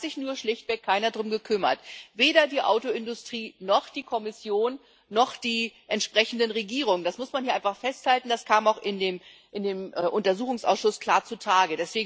Es hat sich nur schlichtweg keiner darum gekümmert weder die Autoindustrie, noch die Kommission, noch die entsprechenden Regierungen. Das muss man einfach festhalten, das kam auch in dem Untersuchungsausschuss klar zutage.